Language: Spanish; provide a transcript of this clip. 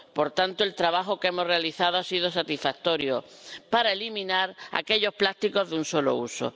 Por tanto, el trabajo que hemos realizado ha sido satisfactorio para eliminar aquellos plásticos de un solo uso.